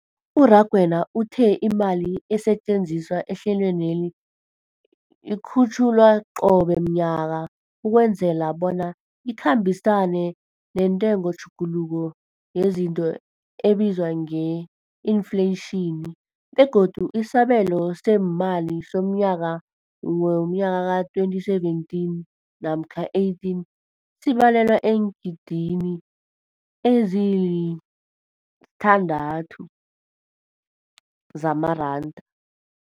U-Rakwena uthe imali esetjenziswa ehlelweneli ikhutjhulwa qobe ngomnyaka ukwenzela bona ikhambisane nentengotjhuguluko yezinto ebizwa nge-infleyitjhini, begodu isabelo seemali somnyaka we-2017 namkha 18 sibalelwa eengidigidini ezisi-6.4 zamaranda.